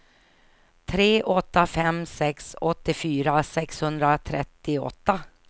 tre åtta fem sex åttiofyra sexhundratrettioåtta